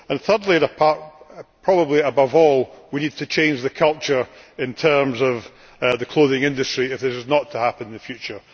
Thirdly, and probably above all, we need to change the culture in terms of the clothing industry if this is not to happen in the future.